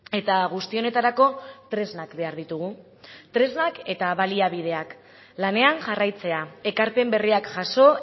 eta guzti honetarako tresnak behar ditugu tresnak eta baliabideak lanean jarraitzea ekarpen berriak jaso